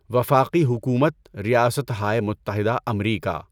وفاقی حکومت، ریاستہائے متحدہ امریکا